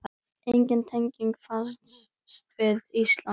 Engin tenging fannst við Ísland.